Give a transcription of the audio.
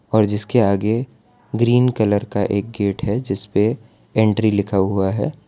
और जिसके आगे ग्रीन कलर का एक गेट है जिसपे एंट्री लिखा हुआ है।